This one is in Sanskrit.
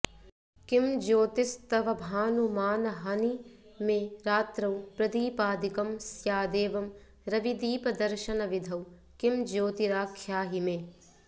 किं ज्योतिस्तवभानुमानहनि मे रात्रौ प्रदीपादिकं स्यादेवं रविदीपदर्शनविधौ किं ज्योतिराख्याहि मे